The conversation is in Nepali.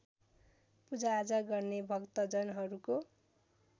पूजाआजा गर्ने भक्तजनहरूको